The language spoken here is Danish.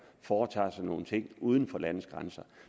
foretager sig nogle ting uden for landets grænser